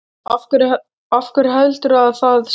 Af hverju heldurðu að það sé?